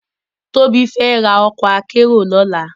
Tobi fè rá òkò àkèéró lòlá